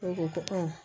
N ko